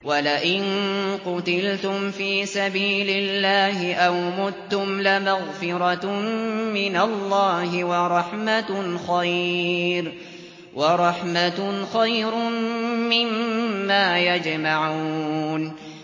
وَلَئِن قُتِلْتُمْ فِي سَبِيلِ اللَّهِ أَوْ مُتُّمْ لَمَغْفِرَةٌ مِّنَ اللَّهِ وَرَحْمَةٌ خَيْرٌ مِّمَّا يَجْمَعُونَ